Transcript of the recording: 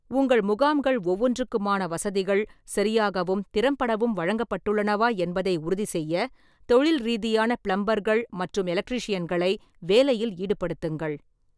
உங்கள் முகாம்கள் ஒவ்வொன்றுக்குமான வசதிகள் சரியாகவும் திறம்படவும் வழங்கப்பட்டுள்ளனவா என்பதை உறுதிசெய்ய தொழில் ரீதியான பிளம்பர்கள் மற்றும் எலக்ட்ரீஷியன்களை வேலையில் ஈடுபடுத்துங்கள்.